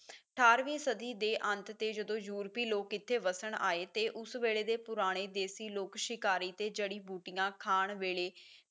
ਅਠਾਰਵੀਂ ਸਦੀ ਦੇ ਅੰਤ ਤੇ ਜਦੋਂ ਯੂਰਪੀ ਲੋਕ ਇੱਥੇ ਵਸਣ ਆਏ ਤੇ ਉਸ ਵੇਲੇ ਦੇ ਪੁਰਾਣੇ ਦੇਸੀ ਲੋਕ ਸ਼ਿਕਾਰੀ ਤੇ ਜੜ੍ਹੀ ਬੂਟੀਆਂ ਖਾਣ ਵੇਲੇ